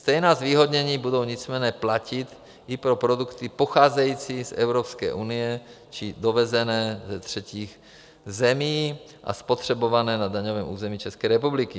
Stejná zvýhodnění budou nicméně platit i pro produkty pocházející z Evropské unie či dovezené ze třetích zemí a spotřebované na daňovém území České republiky.